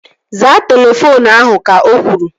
Zaa telefoonu ahu! Ka o kwuru